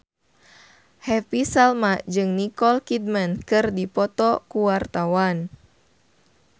Happy Salma jeung Nicole Kidman keur dipoto ku wartawan